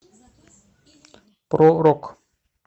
про рок